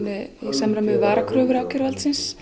samræmi við varakröfu ákæruvaldsins